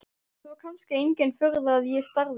Svo kannski engin furða að ég starði.